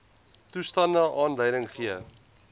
toestande aanleiding gee